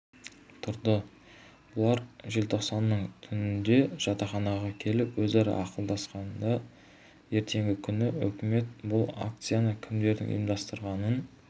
тұрды бұлар желтоқсанның түнінде жатақханаға келіп өзара ақылдасқанда ертеңгі күні өкімет бұл акцияны кімдердің ұйымдастырғанын